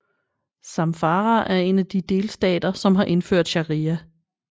Zamfara er en af de delstater som har indført sharia